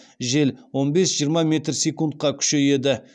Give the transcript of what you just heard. жел он бес жиырма метр секундқа күшейеді